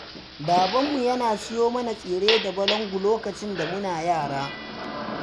Babanmu yana siyo mana tsire da balangu lokacin da muna yara